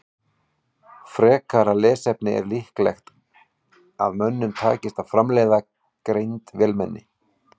Frekara lesefni Er líklegt að mönnum takist að framleiða greind vélmenni?